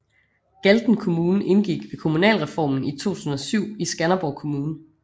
Galten Kommune indgik ved kommunalreformen i 2007 i Skanderborg Kommune